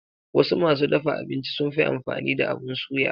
Wasu masu dafa abinci sunfi amfani da abun suya.